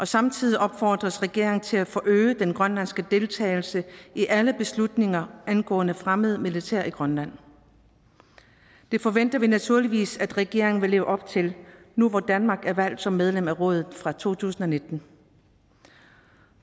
samtidig opfordres regeringen til at forøge den grønlandske deltagelse i alle beslutninger angående fremmed militær i grønland det forventer vi naturligvis at regeringen vil leve op til nu hvor danmark er valgt som medlem af rådet fra to tusind og nitten